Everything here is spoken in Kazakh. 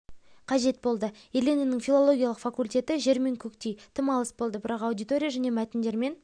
қажет болды еленаның филологиялық факультеті жер мен көктей тым алыс болды бірақ аудитория және мәтіндермен